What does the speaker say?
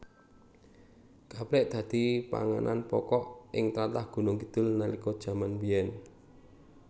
Gaplèk dadi panganan pokok ing tlatah Gunungkidul nalika jaman biyèn